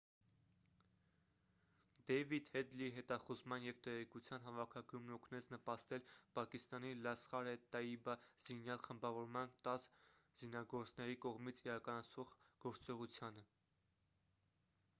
դեյվիդ հեդլիի հետախուզման և տեղեկտվության հավաքագրումն օգնեց նպաստել պակիստանի լասխար-է-տաիբա զինյալ խմբավորման 10 զինագործների կողմից իրականացվող գործողությանը